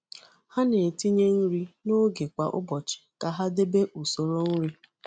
Ha na-etinye nri n’oge kwa ụbọchị ka ha debe usoro nri.